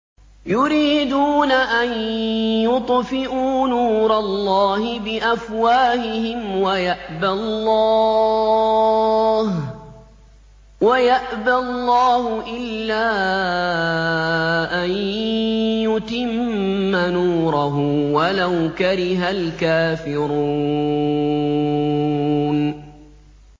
يُرِيدُونَ أَن يُطْفِئُوا نُورَ اللَّهِ بِأَفْوَاهِهِمْ وَيَأْبَى اللَّهُ إِلَّا أَن يُتِمَّ نُورَهُ وَلَوْ كَرِهَ الْكَافِرُونَ